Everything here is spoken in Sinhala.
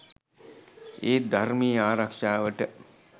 ඒත් ධර්මයේ ආරක්ෂාවට